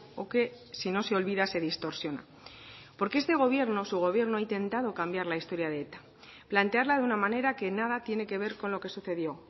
o que si no se olvida se distorsiona porque este gobierno su gobierno ha intentado cambiar la historia de eta plantearla de una manera que nada tiene que ver con lo que sucedió